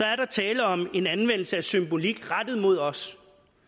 er der tale om en anvendelse af symbolik rettet mod os